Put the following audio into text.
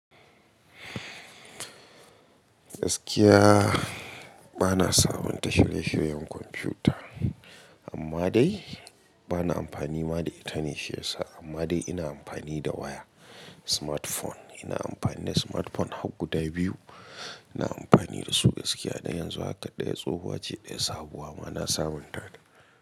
Gaskiya, bana sabunta shirye-shiryen kwamfuta, amma dai bana amfani da ita ne shi yasa, amma dai ina amfani da waya smartphone. Ina amfani da smartphone hag guda biyu. Ina amfani da su gaskiya, dan yanzu haka ɗaya tsohuwa ce ɗaya sabuwa ma na sabunta ta.